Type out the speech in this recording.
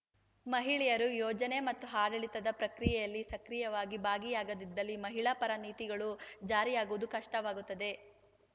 ಮಹಿಳೆಯರು ಯೋಜನೆ ಮತ್ತು ಆಡಳಿತದ ಪ್ರಕ್ರಿಯೆಯಲ್ಲಿ ಸಕ್ರಿಯವಾಗಿ ಭಾಗಿಯಾಗದಿದ್ದಲ್ಲಿ ಮಹಿಳಾ ಪರ ನೀತಿಗಳು ಜಾರಿಯಾಗುವುದು ಕಷ್ಟವಾಗುತ್ತದೆ